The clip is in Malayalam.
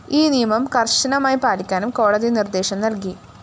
ഈ നിയമം കര്‍ശനമായി പാലിക്കാനും കോടതി നിര്‍ദ്ദേശം നല്‍കി